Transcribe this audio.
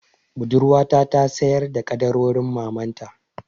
Budurwata ta sayar da ƙaddarorin mamanta.